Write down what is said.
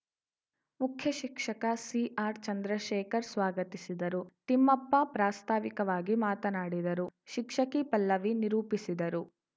ಮುಖ್ಯಶಿಕ್ಷಕ C R Chandrashekhar ಸ್ವಾಗತಿಸಿದ್ದರು ತಿಮ್ಮಪ್ಪ ಪ್ರಾಸ್ತಾವಿಕವಾಗಿ ಮಾತನಾಡಿದರು ಶಿಕ್ಷಕಿ ಪಲ್ಲವಿ ನಿರೂಪಿಸಿದರು